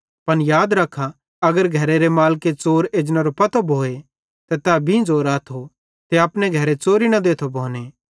पन याद रखा अगर घरेरे मालिके च़ोर एजनेरो पतो भोए त तै बींझ़ो राथो ते अपने घरे च़ोरी न देथो भोने